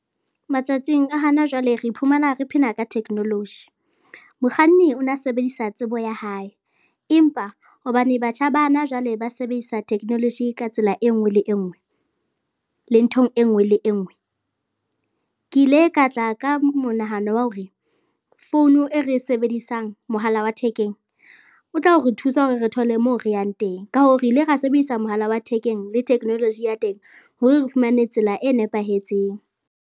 Matsatsing a hana jwale re iphumana re phela ka technology. Mokganni o na sebedisa tsebo ya hae empa hobane batjha ba na jwale ba sebedisa technology ka tsela e nngwe le e nngwe le nthong e nngwe le e nngwe, ke ile ka tla ka monahano wa hore founu e re sebedisang, mohala wa thekeng, o tla re thusa hore re thole moo re yang teng. Ka hoo, re ile ra sebedisa mohala wa thekeng le technology ya teng hore re fumane tsela e nepahetseng.